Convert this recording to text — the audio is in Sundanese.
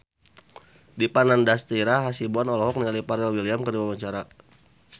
Dipa Nandastyra Hasibuan olohok ningali Pharrell Williams keur diwawancara